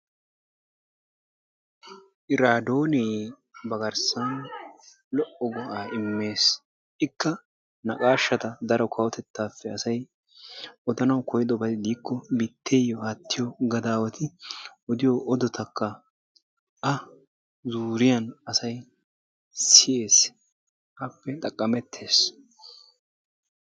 Iraadonee ba garssan lo"o go"aa immees. ikka naqashshata daro kawotettaappe asay odanawu koyyidobay diikko biitteyo aattiyo gadawaati odiyoo odotakka a zuuriyaan asay siyees appe xaqamettes.